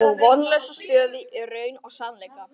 Og vonlausa stöðu í raun og sannleika.